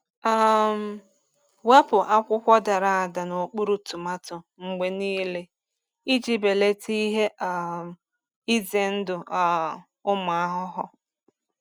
um Wepụ akwụkwọ dara ada n’okpuru tomato mgbe niile iji belata ihe um ize ndụ um ụmụ ahụhụ.